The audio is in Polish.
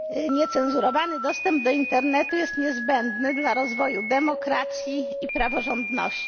Niecenzurowany dostęp do internetu jest niezbędny dla rozwoju demokracji i praworządności.